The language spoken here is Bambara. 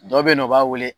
Dɔ bɛ yen nɔ o b'a wele